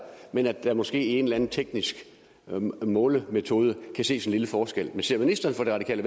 men at der måske en eller anden teknisk målemetode kan ses en lille forskel ser ministeren for det radikale